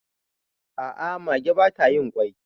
a ' a mage ba ta yin kwai